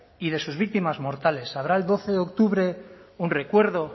y de sus víctimas mortales habrá el doce de octubre un recuerdo